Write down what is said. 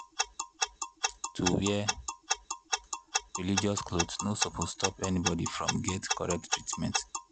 pause — to wear religious cloth no suppose stop anybody from get correct treatment.